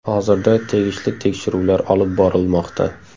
Hozirda tegishli tekshiruvlar olib borilmoqda.